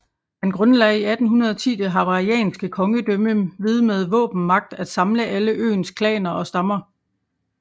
Han grundlagde i 1810 det hawaiianske kongedømme ved med våbenmagt at samle alle øens klaner og stammer